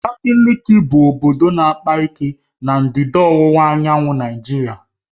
Abakaliki bụ obodo na-akpa ike na ndịda ọwụwa anyanwụ Naịjirịa